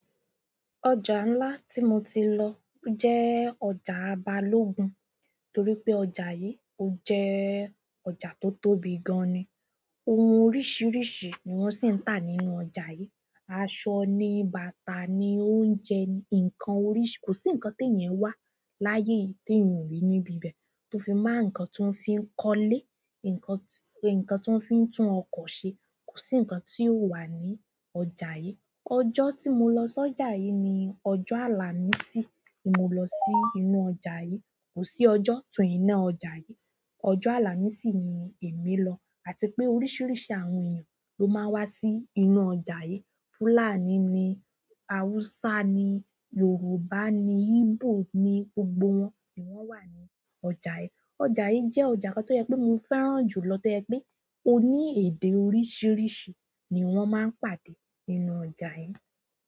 Ọjà ńlá tí mo ti lọ jẹ́ ọjà Balógun, torí pé ọjà yí ó jẹ́ ọjà tó tóbi gan-an ni. Ohun oríṣiríṣi ni wọn sì ń tà nínú ọjà yí. Aṣọ ni, bàtà ni, oúnjẹ ni, nǹkan oríṣi kò sí nǹkan te yẹn wà láyé yi tèèyàn o rí níbi ibẹ̀ tó fi máa nǹkan tó ń fi ń kọ́lé, nǹkan, nǹkan tó ń fi ń tún ọkọ̀ ṣe, kò sí nǹkan tí ò wà ní ọjà yí. Ọjọ́ tí mo lọ sí ọjà yí ni ọjọ́ àlàmísì ní mo lọ sí inú ọjà yí. Kò sí ọjọ́ tún wọn i na ọjà yí, ọjọ́ àlàmísì ni èmi lọ. Àti pé oríṣiríṣi àwọn èèyàn ló máa ń wá sí inú ọjà yí. Fúlàní ni, Haúsá ni, Yorùbá ni, Igbo ni, gbogbo wọn ni wọ́n wà ní ọjà yí. Ọjà yí jẹ́ ọjà kan tó yẹ pé mo fẹ́ràn jù lọ to yẹ pé ó ní èdè oríṣiríṣi ni wọ́n máa ń pàdé nínú ọjà yí.